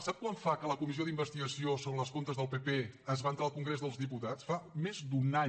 sap quant fa que la comissió d’investigació sobre els comptes del pp es va entrar al congrés dels diputats fa més d’un any